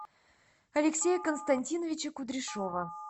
алексея константиновича кудряшова